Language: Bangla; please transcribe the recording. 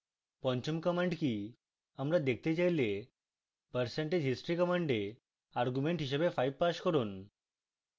পঞ্চম command কি আমরা দেখতে চাইলে percentage history command argument হিসাবে 5 pass করুন